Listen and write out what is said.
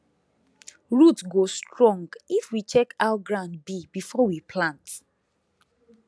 root go strong if we check how ground be before we plant